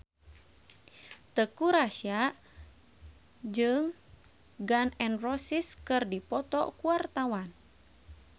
Teuku Rassya jeung Gun N Roses keur dipoto ku wartawan